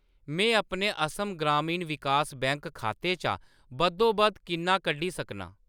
मैं अपने असम ग्रामीण विकास बैंक खाते चा बद्धोबद्ध किन्ना कड्ढी सकनां ?